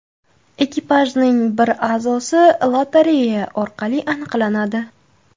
Ekipajning bir a’zosi lotereya orqali aniqlanadi .